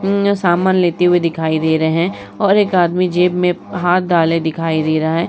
अम्म सामान लेते हुए दिखाई दे रहे हैं और एक आदमी जेब में हाथ डाले दिखाई दे रहा है।